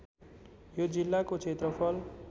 यो जिल्लाको क्षेत्रफल